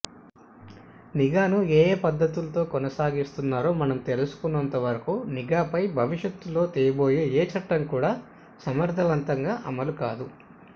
నిఘాను ఏయే పద్ధతుల్లో కొనసాగిస్తున్నారో మనం తెలుసుకోనంతవరకు నిఘాపై భవిష్యత్తులో తేబోయే ఏ చట్టం కూడా సమర్థవంతంగా అమలు కాదు